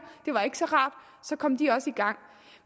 det var ikke så rart så kom de også i gang